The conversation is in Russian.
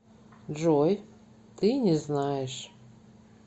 джой ты не знаешь